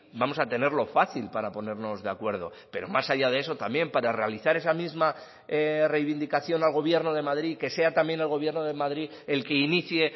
vamos a tenerlo fácil para ponernos de acuerdo pero más allá de eso también para realizar esa misma reivindicación al gobierno de madrid que sea también el gobierno de madrid el que inicie